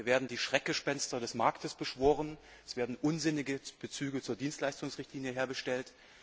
Hier werden die Schreckgespenster des Marktes beschworen, und es werden unsinnige Bezüge zur Dienstleistungsrichtlinie hergestellt.